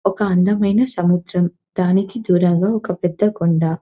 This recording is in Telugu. ఒక అందమైన సముద్రం దానికి దూరంగా ఒక పెద్ద కొండ.